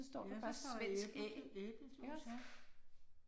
Ja, der står æble æblejuice ja